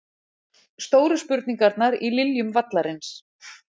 Stóru spurningarnar í Liljum vallarins